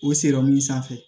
O sanfɛ